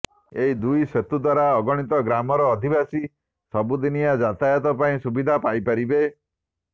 ଏହି ଦୁଇ ସେତୁ ଦ୍ୱାରା ଅଗଣିତ ଗ୍ରାମର ଅଧିବାସୀ ସବୁଦିନିଆ ଯାତାୟାତ ପାଇଁ ସୁବିଧା ପାଇ ପାରିବେ